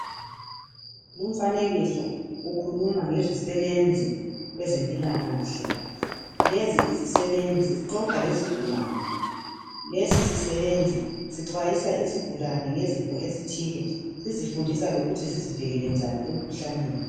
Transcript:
Lumfanekiso ukhuluma ngezisebenzi kwezempilakahle, lezi izisebenzi zixoxa lezigulani lesi sisebenzi sixwayisa izigulane ngezifo ezithile sizifundisa lokuthi zizivikele njani emikhuhlaneni.